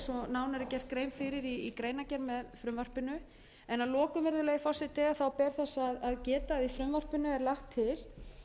er gert grein fyrir í greinargerð með frumvarpinu að lokum virðulegi forseti ber þess að geta að í frumvarpinu er lagt til að í